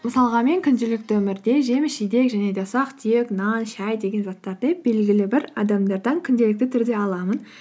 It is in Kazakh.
мысалға мен күнделікті өмірде жеміс жидек және де ұсақ түйек нан шәй деген заттарды белгілі бір адамдардан күнделікті түрде аламын